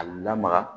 A lamaga